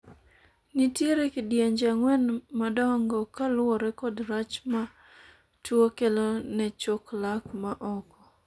nitiere kidienje ang'wen madongo kaluwore kod rach ma tuo kelo ne chok lak ma oko